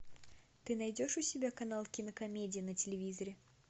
ты найдешь у себя канал кинокомедия на телевизоре